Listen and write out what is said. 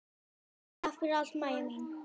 Takk fyrir allt, Mæja mín.